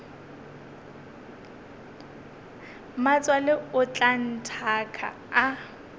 mmatswale o tla nthaka a